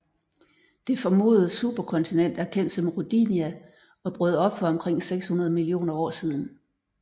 Det formodede superkontinent er kendt som Rodinia og brød op for omkring 600 millioner år siden